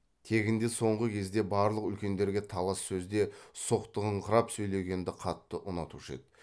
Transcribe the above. тегінде соңғы кезде барлық үлкендерге талас сөзде соқтығыңқырап сөйлегенді қатты ұнатушы еді